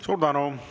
Suur tänu!